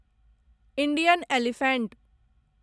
Indian elephant